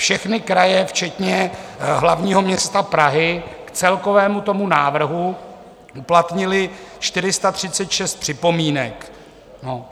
Všechny kraje včetně hlavního města Prahy k celkovému tomu návrhu uplatnily 436 připomínek.